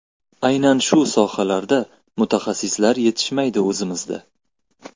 Aynan shu sohalarda mutaxassislar yetishmaydi o‘zimizda.